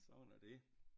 Sådan er det